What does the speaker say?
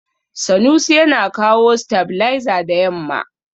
Sanusi yana kawo stabilizer da yamma.